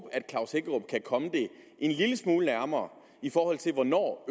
jeg komme det en lille smule nærmere i forhold til hvornår